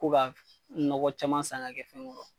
Ko ka nɔgɔ caman san k'a kɛ fɛnw kɔrɔ